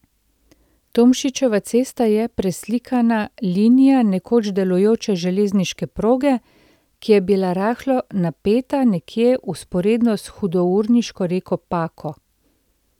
Tomšičeva cesta je preslikana linija nekoč delujoče železniške proge, ki je bila rahlo napeta nekje vzporedno s hudourniško reko Pako.